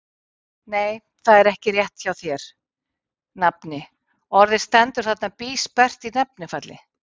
Nei, það er ekki rétt hjá þér, nafni, orðið stendur þarna bísperrt í nefnifalli.